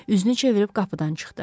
Üzünü çevirib qapıdan çıxdı.